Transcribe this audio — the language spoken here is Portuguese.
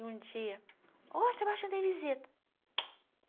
E um dia, ó, Sebastiana tem visita.